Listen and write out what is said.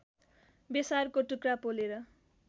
बेसारको टुक्रा पोलेर